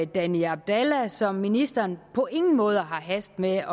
danny abdalla som ministeren på ingen måde har hast med